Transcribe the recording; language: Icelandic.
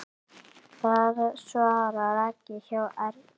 Það svarar ekki hjá Ernu.